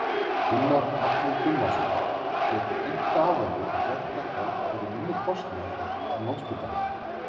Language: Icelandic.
Gunnar Atli Gunnarsson: Getur einkaaðili gert þetta fyrir minni kostnað en Landspítalinn?